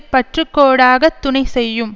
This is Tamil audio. பற்று கோடாகத் துணை செய்யும்